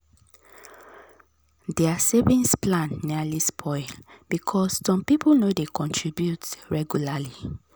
their savings plan nearly spoil because some people no dey contribute regularly.